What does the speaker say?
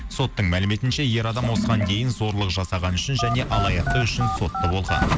соттың мәліметінше ер адам осыған дейін зорлық жасағаны үшін және алаяқты үшін сотты болған